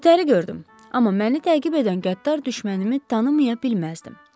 Ötəri gördüm, amma məni təqib edən qəddar düşmənimə tanıya bilməzdim.